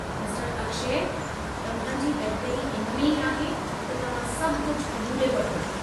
मिस्टरु अक्षय, तव्हां जी बहितरी इन में ई आहे त तव्हां सभु कुझु क़ुबूले वठो।